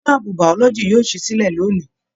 Ṣe láàbù biology yóò sì silẹ lóni?